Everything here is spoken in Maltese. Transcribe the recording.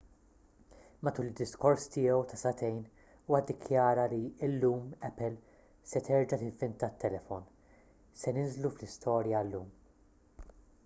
matul id-diskors tiegħu ta' sagħtejn huwa ddikjara li illum apple se terġa' tivvinta t-telefon se ninżlu fl-istorja llum